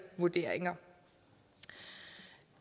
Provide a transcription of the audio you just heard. vurderinger